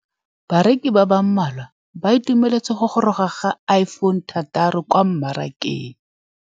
Bareki ba ba malwa ba ituemeletse go gôrôga ga Iphone6 kwa mmarakeng.